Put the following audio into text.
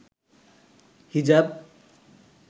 হিজাব